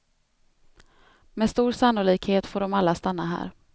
Med stor sannolikhet får de alla stanna här.